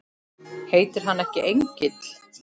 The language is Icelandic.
Heitir hann ekki Engill?